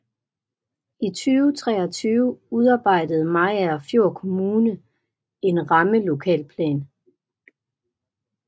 I 2013 udarbejdede Mariagerfjord Kommune en rammelokalplan